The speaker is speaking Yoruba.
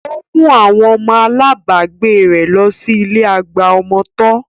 Ó mú àwọn ọmọ alábagbé rẹ̀ lọ sí ilé àgbà ọmọ tọ́